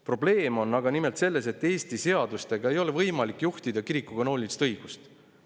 Probleem on aga nimelt selles, et Eesti seadustega ei ole võimalik juhtida kiriku kanoonilist õigust.